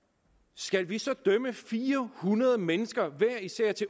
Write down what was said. skal vi så idømme fire hundrede mennesker